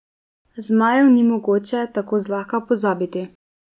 Zmajev ni mogoče tako zlahka pozabiti.